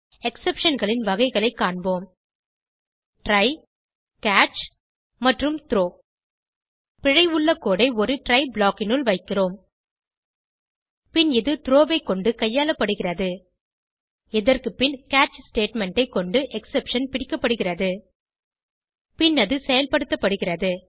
Exceptionகளின் வகைகளைக் காண்போம் try catch மற்றும் த்ரோ பிழை உள்ள கோடு ஐ ஒரு ட்ரை ப்ளாக் னுள் வைக்கிறோம் பின் இது த்ரோ ஐ கொண்டு கையாளப்படுகிறது இதற்கு பின் கேட்ச் ஸ்டேட்மெண்ட் ஐ கொண்டு எக்ஸெப்ஷன் பிடிக்கப்படுகிறது பின் அது செயல்படுத்தப்படுகிறது